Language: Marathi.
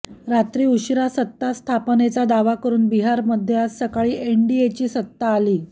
रात्री उशिरा सत्तास्थापनेचा दावा करून बिहारमध्ये आज सकाळी एनडीएची सत्ता आली